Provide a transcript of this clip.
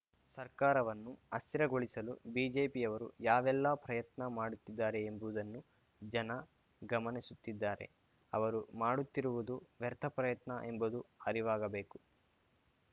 ಸರ್ಕಾರವನ್ನು ಅಸ್ಥಿರಗೊಳಿಸಲು ಬಿಜೆಪಿಯವರು ಯಾವೆಲ್ಲಾ ಪ್ರಯತ್ನ ಮಾಡುತ್ತಿದ್ದಾರೆ ಎಂಬುದನ್ನು ಜನ ಗಮನಿಸುತ್ತಿದ್ದಾರೆ ಅವರು ಮಾಡುತ್ತಿರುವುದು ವ್ಯರ್ಥ ಪ್ರಯತ್ನ ಎಂಬುದು ಅರಿವಾಗಬೇಕು